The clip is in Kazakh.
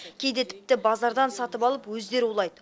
кейде тіпті базардан сатып алып өздері улайды